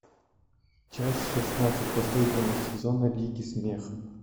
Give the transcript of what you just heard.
часть шестнадцать последнего сезона лиги смеха